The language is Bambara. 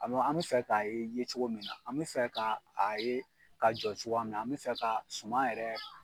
an bɛ fɛ ka ye ye cogo min na, an bɛ fɛ ka a ye ka jɔ cogoya min na, an bɛ fɛ ka suma yɛrɛ